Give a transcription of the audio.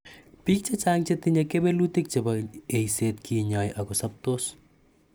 Piik che chang' che tinye kewelutik chebo �eiset kinyai akosaptos.